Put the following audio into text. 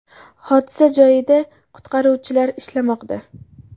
Hodisa joyida qutqaruvchilar ishlamoqda.